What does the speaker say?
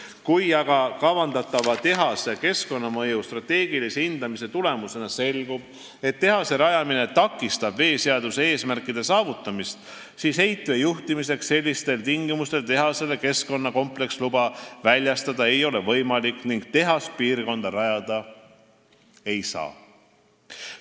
Kui aga kavandatava tehase keskkonnamõju strateegilise hindamise tulemusena selgub, et tehase rajamine takistab veeseaduse eesmärkide saavutamist, siis ei ole võimalik heitvee juhtimiseks sellistel tingimustel tehasele keskkonnakompleksluba väljastada ning tehast piirkonda rajada ei saa.